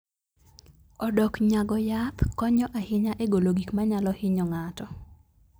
Odoknyago yath konyo ahinya e golo gik manyalo hinyo ng'ato.